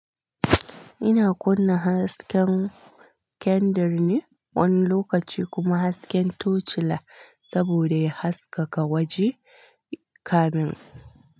Ina kunna hasken kendir ne wani lokaci kuma hasken touch light saboda ya haskaka waje kamun.